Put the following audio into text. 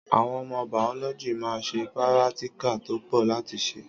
Àwon ọmọ bàọlọjí mà ń sẹ̀ píràtíkà tó pọ láti ṣe